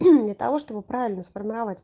для того чтобы правильно сформировать